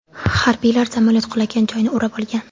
Harbiylar samolyot qulagan joyni o‘rab olgan.